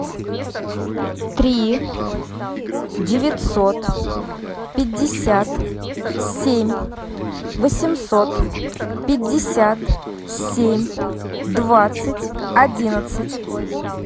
три девятьсот пятьдесят семь восемьсот пятьдесят семь двадцать одиннадцать